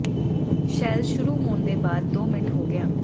shell ਸ਼ੁਰੂ ਹੋਣ ਦੇ ਬਾਅਦ ਦੋ ਮਿੰਟ ਹੋ ਗਿਆ